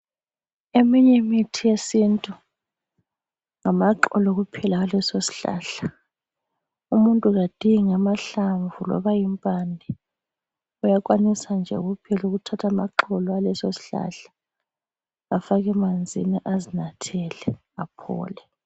Eminy' imithi yesintu, ngamaxolo kuphela aleso sihlahla. Umuntu kadingi amahlamvu loba impande. Uyakwanisa nje kuphela' ukuthatha amaxolo aleso sihlahla afake emanzini azinathele aphole.